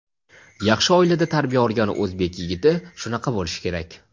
yaxshi oilada tarbiya olgan o‘zbek yigiti shunaqa bo‘lishi kerak.